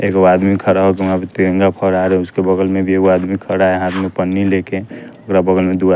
एक वादमी खड़ा हो के वहाँ वे तिरंगा फहरा रहे उसके बगल में भी एक वादमी खड़ा है हाथ में पन्नी लेके पूरा बगल में दो --